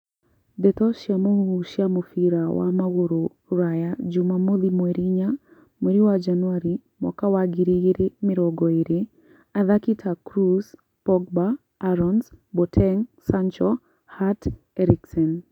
Ndeto cia mũhuhu cia mũbira wa magũrũ Rũraya juma mothi mweri inya mweri wa Januarĩ mwaka wa ngiri igĩrĩ mĩrongo ĩrĩ, athaki ta Kroos, Pogba, Aarons, Boateng, Sancho, Hart, Eriksen